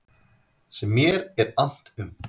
Sem mér er annt um.